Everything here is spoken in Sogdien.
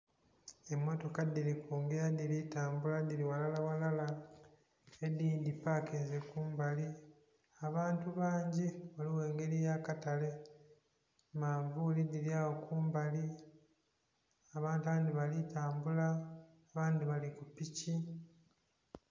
Emotoka dhiri kungira dhiri kutambula dhiri ghalala ghalala edindhi dhipakinze kumbali. Abantu bangi ghaligho engeri ya katake, manvuli dhiri agho kumbali, abantu abndhi bali tambula, abandhi bali ku piki.